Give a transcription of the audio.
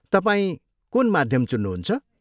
तपाईँ कुन माध्यम चुन्नुहुन्छ?